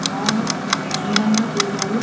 బాగా అందంగా చేశారు.